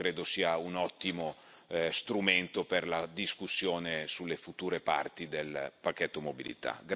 Questo credo sia un ottimo strumento per la discussione sulle future parti del pacchetto mobilità.